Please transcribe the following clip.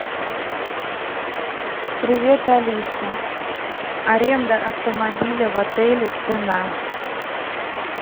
привет алиса аренда автомобиля в отеле цена